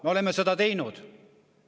Me oleme seda teinud.